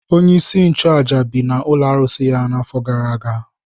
Onyeisi nchụaja bi n’ụlọ arụsị ya n’afọ gara aga.